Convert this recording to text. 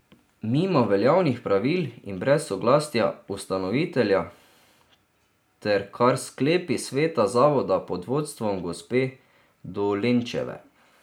Mimo veljavnih pravil in brez soglasja ustanovitelja ter kar s sklepi sveta zavoda pod vodstvom gospe Dolenčeve.